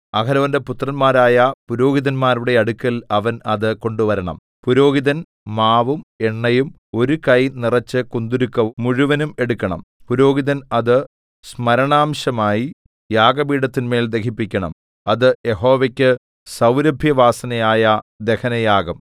അഹരോന്റെ പുത്രന്മാരായ പുരോഹിതന്മാരുടെ അടുക്കൽ അവൻ അത് കൊണ്ടുവരണം പുരോഹിതൻ മാവും എണ്ണയും ഒരു കൈ നിറച്ചു കുന്തുരുക്കം മുഴുവനും എടുക്കണം പുരോഹിതൻ അത് സ്മരണാംശമായി യാഗപീഠത്തിന്മേൽ ദഹിപ്പിക്കണം അത് യഹോവയ്ക്കു സൗരഭ്യവാസനയായ ദഹനയാഗം